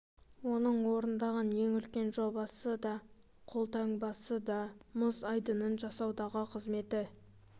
оның орындаған ең үлкен жобасы да қолтаңбасы да мұз айдынын жасаудағы қызметі